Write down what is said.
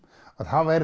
þá væri